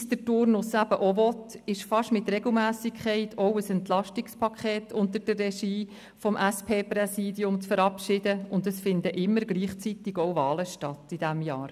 Wie es der Turnus eben auch will, gibt es fast mit Regelmässigkeit auch ein Entlastungspaket unter der Regie des SP-Präsidiums zu verabschieden, und es finden immer gleichzeitig auch Wahlen statt in diesem Jahr.